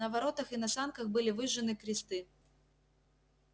на воротах и на санках были выжжены кресты